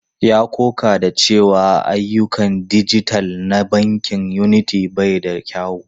Ya ƙoƙa da cewa ayyukan dijital na bankin Unity bai da kyau.